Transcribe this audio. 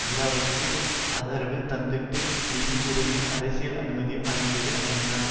ஈராக்கிற்கு ஆதரவு தந்ததுடன் நிதி உதவியும் அரசியல் அனுமதியும் வழங்கியது ஐநா